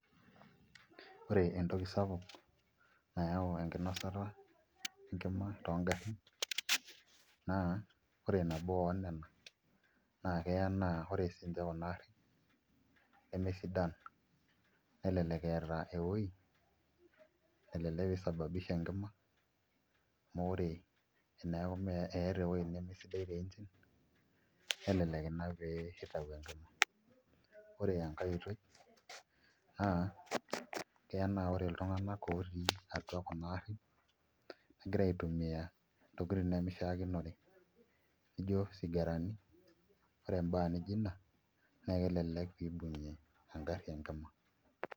Ore entoki sapuk nayau enkinosata enkima toongarrin naa ore nabo oonena naa keya naa ore siinche kuna aarin nemesidan, nelelek eeta ewuoi nalelek isababisha enkima naa ore eneeku eeta ewuoi nemesidai te [s]engine nelelek ina peeitau enkima ore enkai oitoi keya naa ore iltung'anak ootii kuna aarin, keya negira aitumia ntokitin nemishiakinore nijio isigarani ore endaa nijio ina naa kelelek pee ibung'ie engarri enkima.